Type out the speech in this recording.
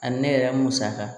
Ani ne yɛrɛ musaka